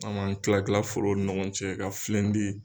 An m'an tila tila forow ni ɲɔgɔn cɛ ka filen di